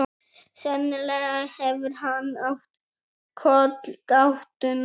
Sennilega hefur hann átt kollgátuna.